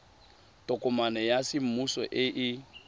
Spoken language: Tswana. tokomane ya semmuso e e